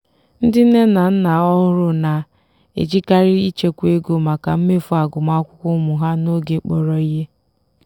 ndị nne na nna ọhụrụ na-ejikarị ịchekwa ego maka mmefu agụmakwụkwọ ụmụ ha n'oge kpọrọ ihe.